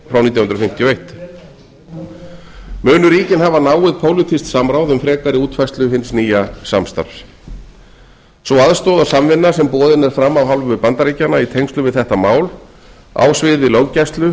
fimmtíu og eitt munu ríkin hafa náið pólitískt samráð um frekari útfærslu hins nýja samstarfs sú aðstoð og samvinna sem boðin er fram af hálfu bandaríkjanna í tengslum við þetta mál á sviði löggæslu